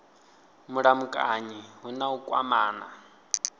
mulamukanyi hu na u kwamana